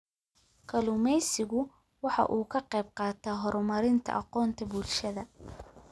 Kalluumaysigu waxa uu ka qayb qaataa horumarinta aqoonta bulshada.